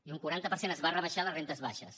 i un quaranta per cent es va rebaixar a les rendes baixes